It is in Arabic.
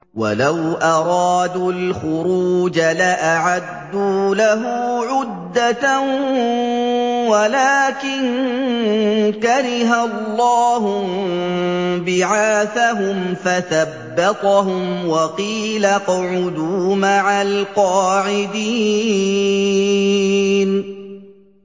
۞ وَلَوْ أَرَادُوا الْخُرُوجَ لَأَعَدُّوا لَهُ عُدَّةً وَلَٰكِن كَرِهَ اللَّهُ انبِعَاثَهُمْ فَثَبَّطَهُمْ وَقِيلَ اقْعُدُوا مَعَ الْقَاعِدِينَ